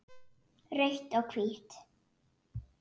Rautt og hvítt